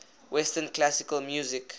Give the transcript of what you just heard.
western classical music